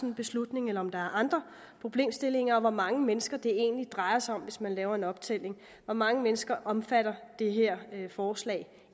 en beslutning eller om der er andre problemstillinger og hvor mange mennesker det drejer sig om hvis man laver en optælling hvor mange mennesker omfatter det her forslag